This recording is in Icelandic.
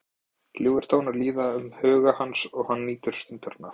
Ljúfir tónar líða um huga hans og hann nýtur stundarinnar.